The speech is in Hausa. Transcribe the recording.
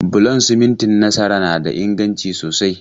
Bulon simintin Nasara na da inganci sosai.